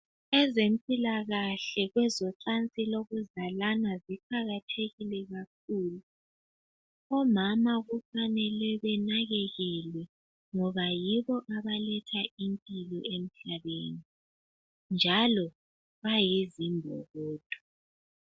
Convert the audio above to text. ezempilakahle kwezocansi lokuzalana ziqakathekile omama kufnele benakekelwe ngoba ngoba yibo abaletha impilo emhlabeni njalo bayizimbokodo